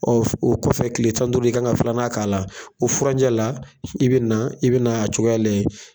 Ɔ o kɔfɛ kile tan ni duuru, i ka kan ka filanan k'a la, o furanjɛ la , i bɛ i bɛna a cogoya lajɛ.